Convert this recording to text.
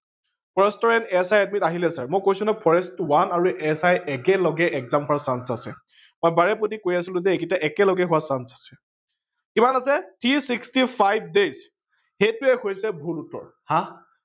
আহিলে ছাৰ। মই কৈছিলো নহয় forest one আৰু SI একেলগে হোৱাৰ Chance আছে। মই বাৰে পতি কৈ আছিলো যে এইগিতা একেলগে হোৱাৰ chance আছে। কিমান আছে three sixty five days সেইটোৱে হৈছে ভূল উত্তৰ